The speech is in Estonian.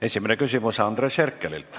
Esimene küsimus on Andres Herkelilt.